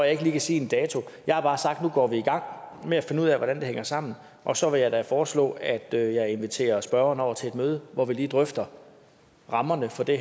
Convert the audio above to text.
ikke lige kan sige en dato jeg har bare sagt at nu går vi i gang med at finde ud af hvordan det hænger sammen og så vil jeg da foreslå at jeg jeg inviterer spørgeren over til et møde hvor vi lige drøfter rammerne for det